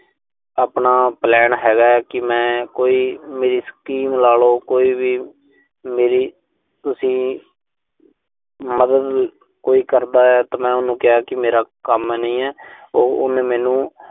ਆਪਣਾ plan ਹੈਗਾ ਕਿ ਮੈਂ। ਕੋਈ ਮੇਰੀ ਸਕੀਮ ਲਾਲੋ। ਕੋਈ ਵੀ ਮੇਰੀ ਤੁਸੀਂ ਮਦਦ ਕੋਈ ਕਰਦਾ ਤਾਂ ਮੈਂ ਉਹਨੂੰ ਕਿਹਾ ਕਿ ਮੇਰਾ ਕੰਮ ਨਹੀਂ ਐ। ਉਹ, ਉਹਨੇ ਮੈਨੂੰ